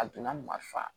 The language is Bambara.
A donna marifa